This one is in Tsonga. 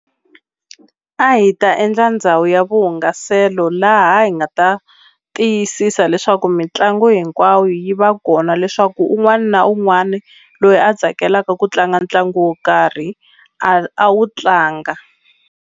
A hi ta endla ndhawu ya vuhungaselo laha hi nga ta tiyisisa leswaku mitlangu hinkwawo yi va kona leswaku un'wani na un'wani loyi a tsakelaka ku tlanga ntlangu wo karhi a wu tlanga.